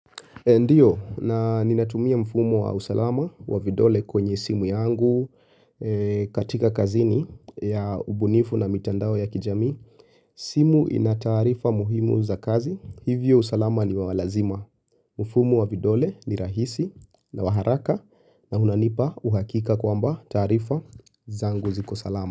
Ndiyo na ninatumia mfumo wa usalama wa vidole kwenye simu yangu katika kazini ya ubunifu na mitandao ya kijami. Simu inatarifa muhimu za kazi. Hivyo usalama ni wawalazima. Mfumo wa vidole ni rahisi na waharaka na unanipa uhakika kwamba tarifa zangu ziko salama.